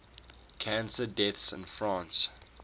cancer deaths in france